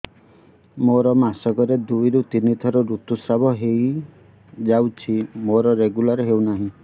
ମୋର ମାସ କ ରେ ଦୁଇ ରୁ ତିନି ଥର ଋତୁଶ୍ରାବ ହେଇଯାଉଛି ମୋର ରେଗୁଲାର ହେଉନାହିଁ